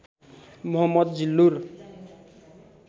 Mohammad Zillur